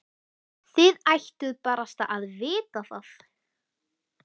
Þið ættuð barasta að vita það.